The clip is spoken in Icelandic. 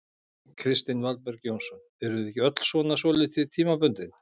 Kristinn Valberg Jónsson: Erum við ekki öll svona svolítið tímabundið?